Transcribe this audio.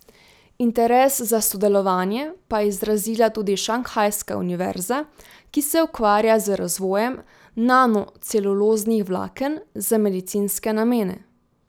Interes za sodelovanje pa je izrazila tudi Šanghajska Univerza, ki se ukvarja z razvojem nano celuloznih vlaken za medicinske namene.